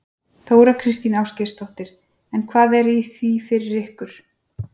Þóra Kristín Ásgeirsdóttir: En hvað er í því fyrir ykkur?